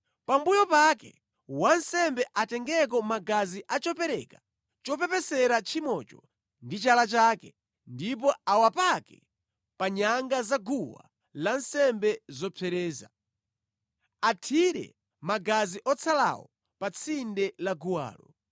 Pambuyo pake wansembe atengeko magazi a chopereka chopepesera tchimocho ndi chala chake, ndipo awapake pa nyanga za guwa lansembe zopsereza. Athire magazi otsalawo pa tsinde la guwalo.